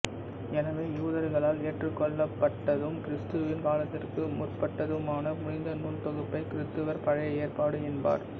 எனவே யூதர்களால் ஏற்றுக்கொள்ளப்பட்டதும் கிறிஸ்துவின் காலத்திற்கு முற்பட்டதுமான புனித நூல் தொகுப்பைக் கிறித்தவர் பழைய ஏற்பாடு என்பர்